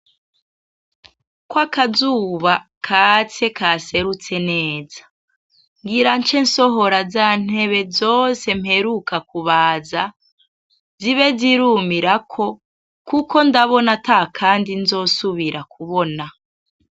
Kwaka zuba katse kaserutse neza! Ngira nce nsohora za ntebe zose mperuka kubaza zibe zirumirako, kuko ndabona ata kandi nzosubira kubona.